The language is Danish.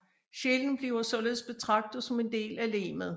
Sjælen bliver således betragtet som en del af legemet